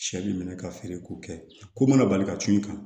Sɛ b'i minɛ ka feere ko kɛ ko mana bali ka tu i kan